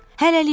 Hələlik.